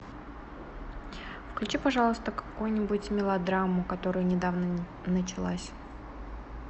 включи пожалуйста какую нибудь мелодраму которая недавно началась